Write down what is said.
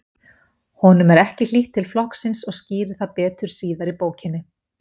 Honum er ekki hlýtt til flokksins og skýrir það betur síðar í bókinni.